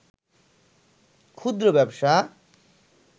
ক্ষুদ্র ব্যবসা